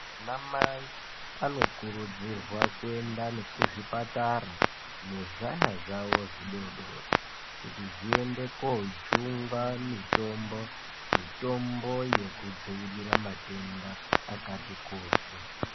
Ana mai anokurudzirwa kuenda kuzvipatara nezvana zvavo zvidoodori kuti zviende koojungwa mitombo, mitombo yekudzivirira matenda akati kuti.